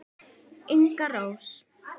Inga Rós.